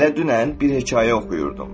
Elə dünən bir hekayə oxuyurdum.